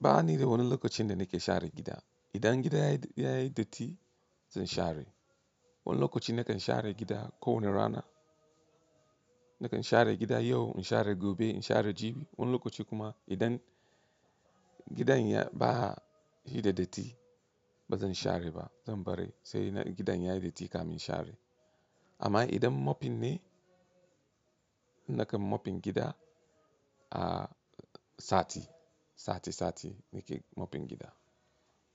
Ba ni da wani lokacin da nake share gida. Idan gidan ya yi datti zan share. Wani lokaci nakan share gida kowane rana. Nakan share gida yau, in share gobe, in share jibi. Wani lokaci kuma idan gidan ba yi da datti ba zan share ba, zan bari sai gidan ya yi datti ka min share. Amma idan mopping ne, nakan mopping gida a sati, sati sati nake mopping gida.